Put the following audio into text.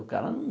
O cara não...